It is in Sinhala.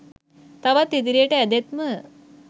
තවත් ඉදිරියට ඇදෙත්ම